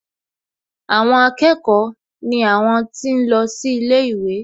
Àwọn akẹ́kọ̀ọ́ ni àwọn tí ń lọ sí ilé ìwé